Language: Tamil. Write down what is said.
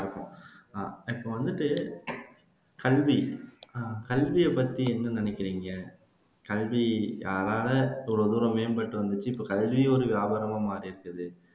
அஹ் இப்போ வந்துட்டு அஹ் கல்வி, கல்வியைப் பத்தி என்ன நினைக்கிறீங்க, கல்வி யாரால இவ்வளவு தூரம் மேம்பட்டு வந்துச்சு இப்போ கல்வியும் ஒரு வியாபாரமா மாறியிருக்குது